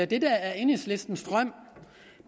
det der er enhedslistens drøm